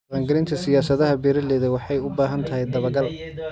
Dhaqangelinta siyaasadaha beeralayda waxay u baahan tahay dabagal.